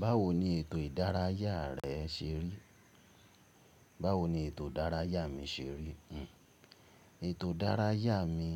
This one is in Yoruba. Báwo ni ètò ìdárayá rẹ ṣe rí? Báwo ni ètò ìdárayá mi ṣe rí? Ètò ìdárayá mi,